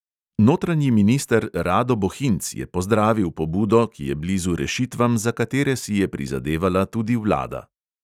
Notranji minister rado bohinc je pozdravil pobudo, ki je blizu rešitvam, za katere si je prizadevala tudi vlada.